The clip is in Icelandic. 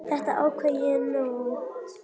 Þetta ákvað ég í nótt.